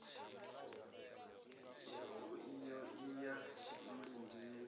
yau iyo i ya mulindini